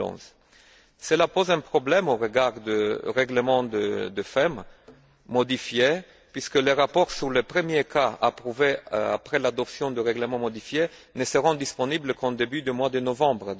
2011. Cela pose un problème au regard du règlement du FEM modifié puisque les rapports sur les premiers cas approuvés après l'adoption du règlement modifié ne seront disponibles qu'au début du mois de novembre